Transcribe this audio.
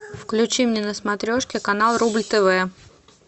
включи мне на смотрешке канал рубль тв